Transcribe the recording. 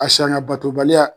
A sanga batobaliya